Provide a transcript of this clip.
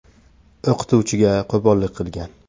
o‘qituvchiga qo‘pollik qilgan.